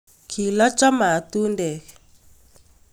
kilocho matundek